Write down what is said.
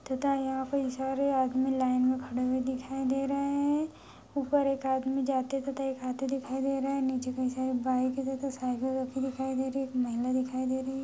तथा यहाँ पे कई सारे आदमी लाइन मे खड़े हुए दिखाई दे रहे हैं ऊपर एक आदमी जाते तथा आते दिखाई दे रहा है नीचे कई सारी बाइक तथा साइकिल रखी दिखाई दे रही है एक महिला दिखाई दे रही है।